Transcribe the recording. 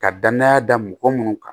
Ka danaya da mɔgɔ minnu kan